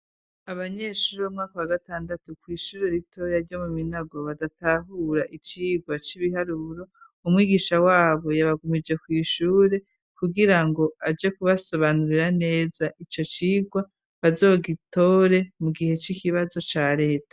Abanyeshuri b'umwaka wa gatandatu kw'ishuri ritoya ryo mu minago badatahura icigwa c'ibiharuro umwigisha wabo yabagumije kw'ishure kugira ngo aje kubasobanurira neza ico cigwa bazogitore mu gihe c'ikibazo ca leta.